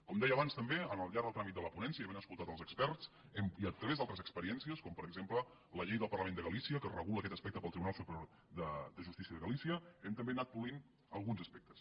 com deia abans també al llarg del tràmit de la ponència i havent escoltat els experts i a través d’altres experiències com per exemple la llei del parlament de galícia que regula aquest aspecte pel tribunal superior de justícia de galícia hem també anat polint alguns aspectes